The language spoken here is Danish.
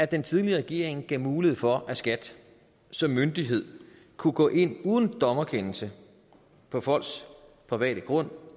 den tidligere regering gav mulighed for at skat som myndighed kunne gå ind uden dommerkendelse på folks private grund